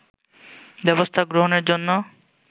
ব্যবস্থা গ্রহণের জন্য